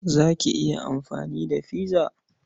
Za ki iya amfani da pizza?